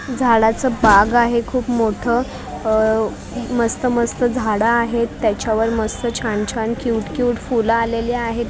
झाडाचं बाग आहे खूप मोठं अ मस्त मस्त झाडं आहेत त्याच्यावर मस्त छान छान क्यूट क्यूट फुलं आलेली आहेत पिंक --